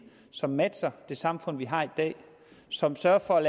som matcher det samfund vi har i dag som sørger for